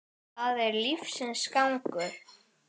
Það er lífsins gangur.